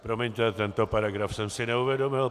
Promiňte, tento paragraf jsem si neuvědomil.